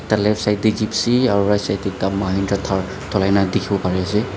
eh left side te jipsy aru right side te Mahindra Thar ase.